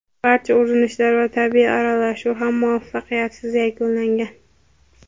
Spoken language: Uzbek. Barcha urinishlar va tibbiy aralashuv ham muvaffaqiyatsiz yakunlangan.